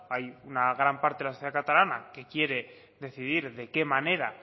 hay una gran parte de la sociedad catalana que quiere decidir de qué manera